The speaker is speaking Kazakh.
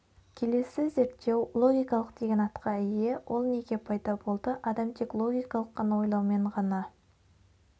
келесі зерттеу логикалық деген атқа ие ол неге пайда болды адам тек логикалық қана ойлаумен ғана